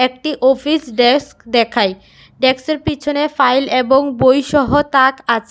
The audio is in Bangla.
একটি অফিস ডেস্ক দেখাই ডেকসের পিছনে ফাইল এবং বই সহ তাক আছে।